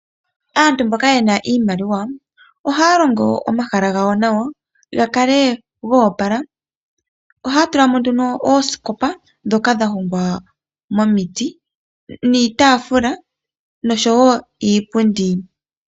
Aantu mboka yena iimaliwa ohaya longo omahala gawo nawa gakale ga opala. Ohaya tulamo nduno oosikopa, ndhoka dha hongwa momiti niitaafula nosho wo iipundi.